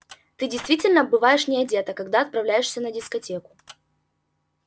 ты действительно бываешь не одета когда отправляешься на дискотеку